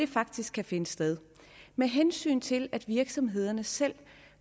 faktisk kan finde sted med hensyn til at virksomhederne selv